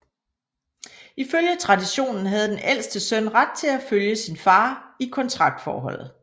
I følge traditionen havde den ældste søn ret til at følge sin far i kontraktforholdet